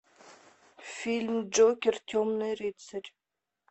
фильм джокер темный рыцарь